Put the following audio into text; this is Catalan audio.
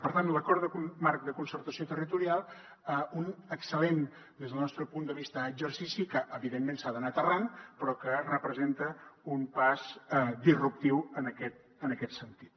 per tant l’acord marc de concertació territorial un excel·lent des del nostre punt de vista exercici que evidentment s’ha d’anar aterrant però que representa un pas disruptiu en aquest sentit